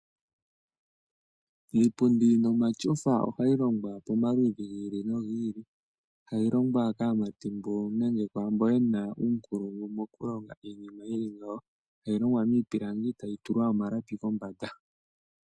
Iipundi nomashofa ohayi longwa pomaludhi gili no giili, tayi longwa kaamati mboka nenge kwaamboka yena uunkulungu mokulonga iinima yili ngawo, etayi longwa miipilangi etayi tulwa omalapi kombanda.